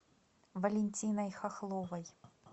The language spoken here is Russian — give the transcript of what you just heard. валентиной хохловой